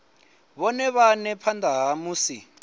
vhone vhane phanda ha musi